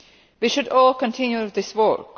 We should all continue this work.